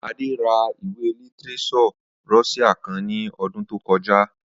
Adé ra ìwé lítírés̩ò̩ Ró̩s̩íà kan ní o̩dún tó ko̩já